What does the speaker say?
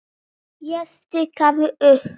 Ég stikaði upp